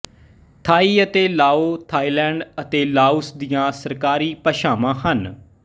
ਥਾਈ ਅਤੇ Lao Thailand ਅਤੇ Laos ਦੀਆਂ ਸਰਕਾਰੀ ਭਾਸ਼ਾਵਾਂ ਹਨ